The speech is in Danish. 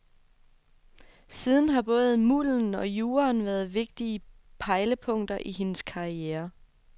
Siden har både mulden og juraen været vigtige pejlepunkter i hendes karriere.